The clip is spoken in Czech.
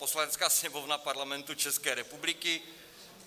Poslanecká sněmovna Parlamentu České republiky...